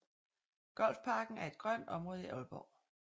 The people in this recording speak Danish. Golfparken er et grønt område i Aalborg